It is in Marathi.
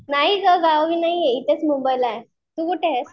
नाही गं गावी नाहीये इथेच मुंबईला आहे तू कुठे आहेस?